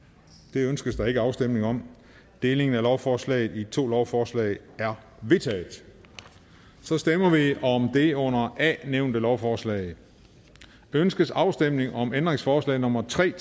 det ønskes der ikke afstemning om og delingen af lovforslaget i to lovforslag er vedtaget så stemmer vi om det under a nævnte lovforslag ønskes afstemning om ændringsforslag nummer tre